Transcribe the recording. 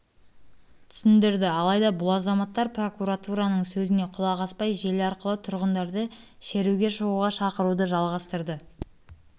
түсіндірді алайда бұл азаматтар прокуратураның сөзіне құлақ аспай желі арқылы тұрғындарды шеруге шығуға шақыруды жалғастырды